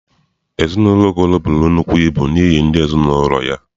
Ezinụlọ Okoro buru nnukwu ibu n’ihi ndị ezinaụlọ ya.